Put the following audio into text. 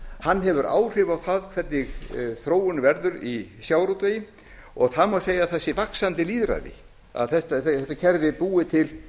hann hefur áhrif á það hvernig þróunin verður í sjávarútvegi og það má segja að það sé vaxandi lýðræði að þetta kerfi er búið til